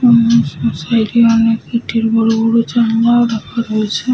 এবং সা সাইড এ অনেক দুটি বড়বড় জানলাও রাখা রয়েছে।